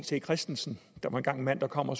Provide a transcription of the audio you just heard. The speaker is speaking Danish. c christensen der var engang en mand der kom og